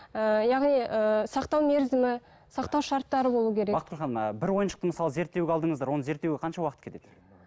ііі яғни ііі сақтау мерзімі сақтау шарттары болу керек бақытгүл ханым ііі бір ойыншықты мысалы зерттеуге алдыңыздар оны зерттеуге қанша уақыт кетеді